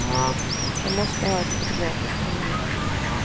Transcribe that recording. Han måste ha ett fotografiskt minne.